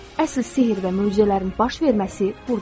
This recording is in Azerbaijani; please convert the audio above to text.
Əsl sehr və möcüzələrin baş verməsi burdadır.